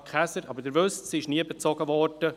Sie wissen aber, dass sie nie bezogen wurde;